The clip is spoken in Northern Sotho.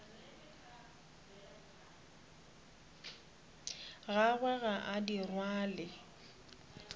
gagwe ga a di rwale